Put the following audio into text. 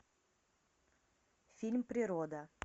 фильм природа